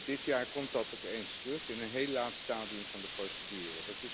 Dit jaar komt dat opeens terug in een heel laat stadium van de procedure.